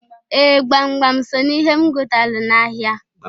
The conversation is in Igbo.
Ee! Gbamgbam so n'ihe m gotalụ n'ahịa.